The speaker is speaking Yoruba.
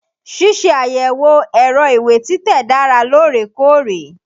Ṣíṣe àyẹ̀wò ẹ̀rọ ìwé títẹ̀ dára lóòrèkóòrè.